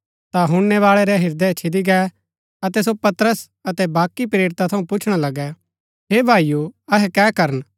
ता हुणनैबाळै रै ह्रदय छिदी गै अतै सो पतरस अतै बाकी प्रेरिता थऊँ पुछणा लगै हे भाईओ अहै कै करन